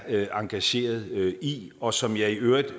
er engageret i og som jeg i øvrigt i